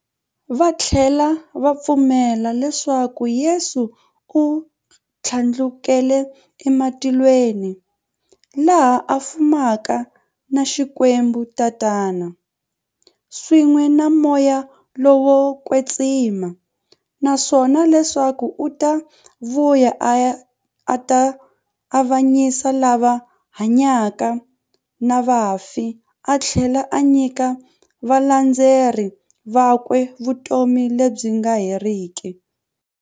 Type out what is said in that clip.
Vathlela va pfumela leswaku Yesu u thlandlukele e matilweni, laha a fumaka na Xikwembu-Tatana, swin'we na Moya lowo kwetsima, naswona leswaku u ta vuya a ta avanyisa lava hanyaka na vafi athlela a nyika valandzeri vakwe vutomi lebyi nga heriki.